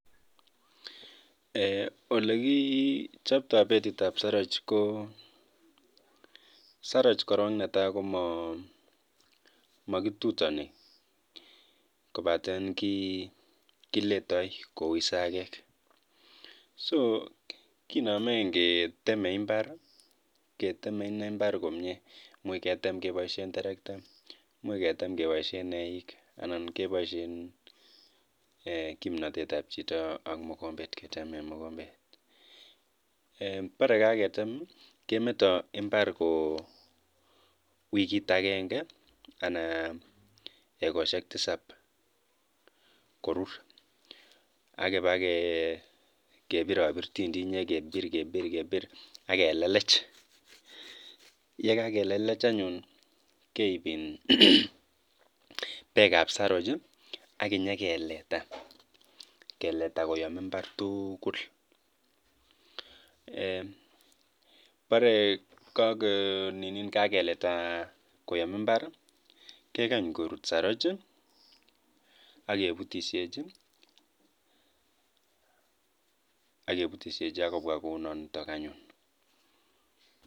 Ororun olekichopto betitab saroch.